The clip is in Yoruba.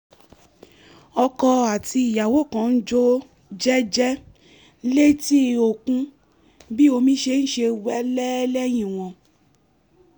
ọkọ àti ìyàwó kan jó jẹ́jẹ́ létí òkun bí omi ṣe ń sẹ́ wẹ́lẹ́ lẹ́yìn wọn